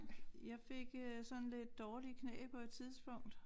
Jeg fik øh sådan lidt dårlige knæ på et tidspunkt